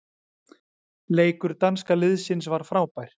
Leikur danska liðsins var frábær.